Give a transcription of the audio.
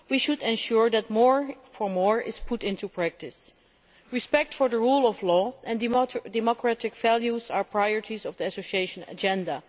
We should ensure that more for more' is put into practice. Respect for the rule of law and democratic values are priorities of the Association Agenda.